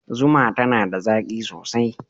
Zuma tana da zaƙi sosai.